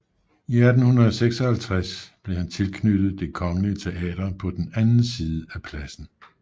I 1856 blev han tilknyttet Det Kongelige Teater på den anden side af pladsen